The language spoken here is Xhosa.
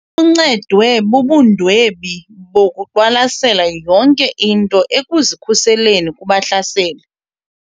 Uncedwe bubundwebi bokuqwalasela yonke into ekuzikhuseleni kubahlaseli.